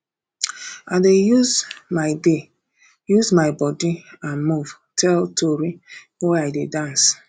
i dey use my dey use my body and move tell tori wen i dey dance